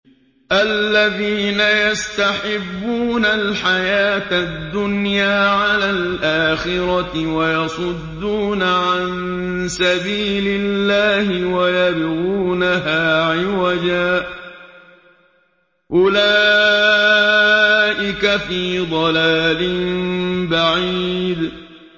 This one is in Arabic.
الَّذِينَ يَسْتَحِبُّونَ الْحَيَاةَ الدُّنْيَا عَلَى الْآخِرَةِ وَيَصُدُّونَ عَن سَبِيلِ اللَّهِ وَيَبْغُونَهَا عِوَجًا ۚ أُولَٰئِكَ فِي ضَلَالٍ بَعِيدٍ